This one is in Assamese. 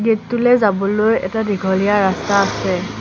গেট টোলৈ যাবলৈ এটা দীঘলীয়া ৰাস্তা আছে।